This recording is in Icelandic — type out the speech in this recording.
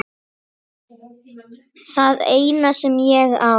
Það eina sem ég á.